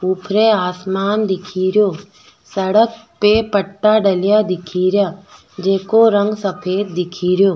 ऊपरे आसमान दिखे रो सड़क पे पट्टा डलया दिखे रिया जेको रंग सफ़ेद दिखे रियो।